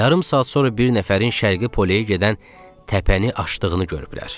Yarım saat sonra bir nəfərin Şərqi Pole-yə gedən təpəni aşdığını görüblər.